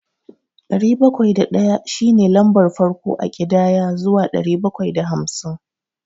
Ɗari bakwai da ɗaya shi ne lambar farko a ƙidaya zuwa ɗari bakwai da hamsin.